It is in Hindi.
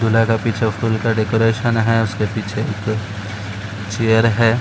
दूल्हा के पीछे फूल का डेकोरेशन है। उसके पीछे एक ठो चेयर है।